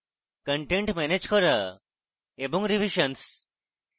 content manage করা এবং revisions